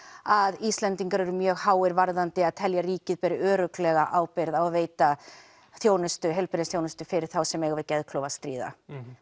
að Íslendingar eru mjög háir varðandi að telja að ríkið beri örugglega ábyrgð og veita heilbrigðisþjónustu fyrir þá sem eiga við geðklofa að stríða